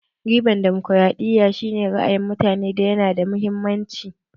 Ribar damokaraɗiya shi ne ra'ayin mutane yana da mahimmanci